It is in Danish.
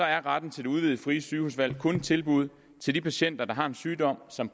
er retten til det udvidede frie sygehusvalg kun et tilbud til de patienter der har en sygdom som